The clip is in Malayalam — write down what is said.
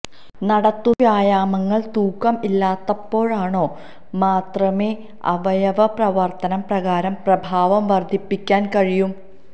നടത്തുന്നു വ്യായാമങ്ങൾ തൂക്കം ഇല്ലാത്തപ്പോഴാണോ മാത്രമേ അവയവ പ്രവർത്തനം പ്രകാരം പ്രഭാവം വർദ്ധിപ്പിക്കാൻ കഴിയും